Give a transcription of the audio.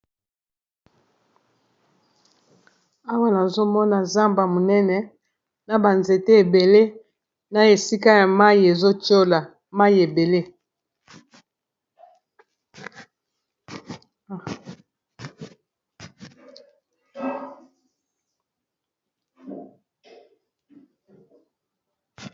Awa nazomona zamba monene na ba nzete ebele na esika ya mai ezotiola mai ebele